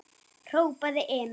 hrópaði Emil.